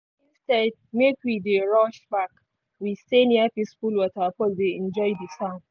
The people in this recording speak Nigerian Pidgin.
instead make we dey rush back we stay near peaceful waterfall dey enjoy di sound.